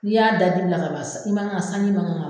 N'i y'a da dibi la ka ban, san, i man ka ,sanji man kan ka